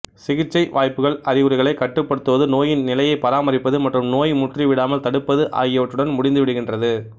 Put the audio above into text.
சிகிச்சை வாய்ப்புகள் அறிகுறிகளைக் கட்டுப்படுத்துவது நோயின் நிலையைப் பராமரிப்பது மற்றும் நோய் முற்றி விடாமல் தடுப்பது ஆகியவற்றுடன் முடிந்து விடுகின்றது